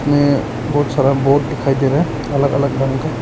में बहुत सारा बोट दिखाई दे रहा है अलग अलग रंग का।